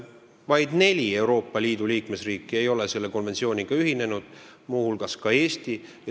Vaid neli Euroopa Liidu liikmesriiki ei ole selle konventsiooniga ühinenud, teiste hulgas Eesti.